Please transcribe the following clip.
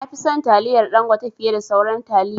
Nafi son taliyar Dangote fiye da sauran taliya